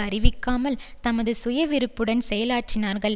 அறிவிக்காமல் தமது சுயவிருப்புடன் செயலாற்றினார்கள்